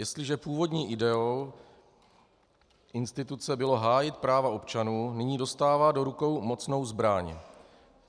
Jestliže původní ideou instituce bylo hájit práva občanů, nyní dostává do rukou mocnou zbraň.